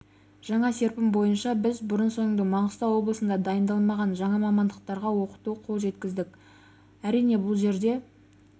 жаңа серпін бойынша біз бұрын-соңды маңғыстау облысында дайындалмаған жаңа мамандықтарға оқытуға қол жеткіздік әрине бұл жерде